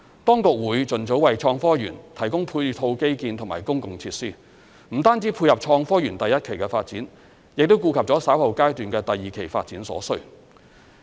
當局會盡早為創科園提供配套基建及公共設施，不單只配合創科園第一期的發展，亦顧及了稍後階段的第二期發展所需。